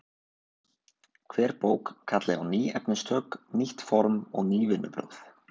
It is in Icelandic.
Hver bók kalli á ný efnistök, nýtt form og ný vinnubrögð.